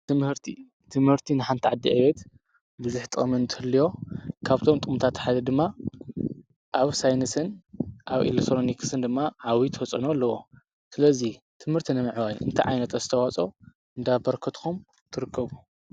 ትምህርቲ፡- ትምህርቲ ንሓንቲ ዓዲ ዕቤት ብዙሕ ጥቕሚ እንትህልዮ ካብቶም ጥቕምታት ሓደ ድማ ኣብ ሳይንስን ኣብ ኤሌሰሎኒክስን ድማ ዓብዬ ተፅዕኖ ኣለዎ፡፡ ስለዙይ ትምህርቲ ንምዕባይን እንታይ ዓይነት ኣስተዋፅኦ እንዳበርከትኩም ትርከቡ?